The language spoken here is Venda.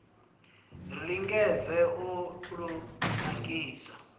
ri lingedze u lu nakisa